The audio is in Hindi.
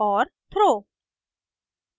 और throw